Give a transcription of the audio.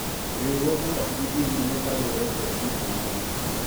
riwruogno ok bi dhi nyime kaluwore kod gik mang'eny